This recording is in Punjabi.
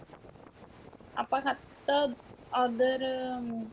ਆਪਾਂ ਖਾਦਾ ਉੱਧਰ